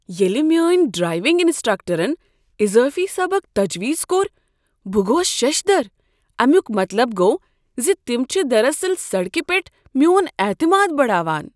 ییٚلہ میٲنۍ ڈرایونگ انسٹرکٹرن اضٲفی سبق تجویز کوٚر بہٕ گوس ششدر۔ امیک مطلب گوٚو زِ تم چھ دراصل سڑکہ پیٹھ میون اعتماد بڑاوان۔